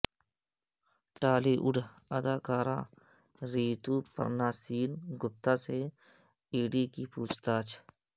ٹالی would اداکارہ Rituparna Sen Gupta سے E D کی پوچھ تاچھ